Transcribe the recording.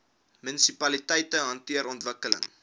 munisipaliteite hanteer ontwikkeling